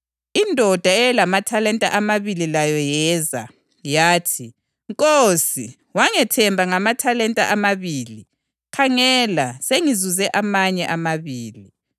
Indoda eyayilamathalenta amabili layo yeza. Yathi, ‘Nkosi, wangethemba ngamathalenta amabili; khangela, sengizuze amanye amabili.’